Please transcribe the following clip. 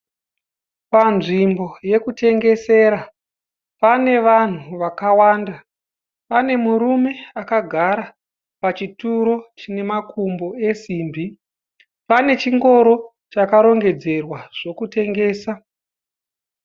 Panzvimbo yekutengesera, pane vanhu vakawanda. Pane murume akagara pachituro chine makumbo esimbi. Pane chingoro chakarongedzerwa zvokutengesa.